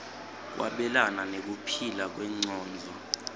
kwabelana nekuphila kwengcondvo